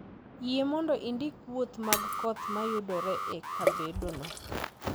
Yie mondo indik wuoth mag koth ma yudore e kabedono